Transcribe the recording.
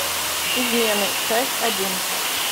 измены часть один